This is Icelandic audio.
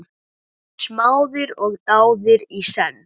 Þeir voru smáðir og dáðir í senn.